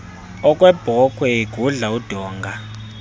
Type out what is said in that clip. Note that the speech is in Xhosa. okwebhokhwe igudla udonga